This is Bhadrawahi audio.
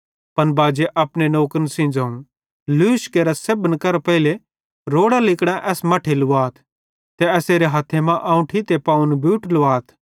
पन बाजे अपने नौकरन सेइं ज़ोवं लूश केरा ते सेब्भन करां पेइले रोड़ां लिगड़ां एस मट्ठे लुवाथ ते एसेरे हथ्थे आंवठी ते पावन बूट लुवाथ